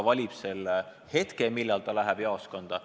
Ta ise valib hetke, millal ta läheb jaoskonda.